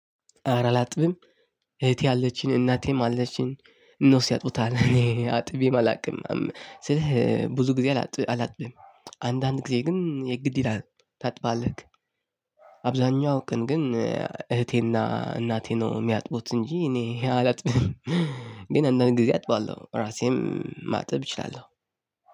አረ አላጥብም እህቴ አለችኝ እናቴም አለችኝ እነሱ ያጥቡታል እኔ አጥቤም አላቅም ስልህ ብዙ ጊዜ አላጥብም አንዳንድ ጊዜ ግን የግድ ይልሃል ታጥባለህ። አብዛኛው ቀን ግን እህቴና እናቴ ነው የሚያጥቡት እንጂ እኔ አላጥብም ግን አንዳንድ ጊዜ አጥባለሁ ራሴም ማጥብ እችላለሁ።